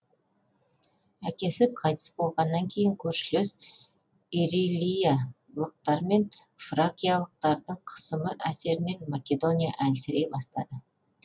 әкесі қайтыс болғаннан кейін көршілес ирилиялықтар мен фракиялықтардың қысымы әсерінен македония әлсірей бастайды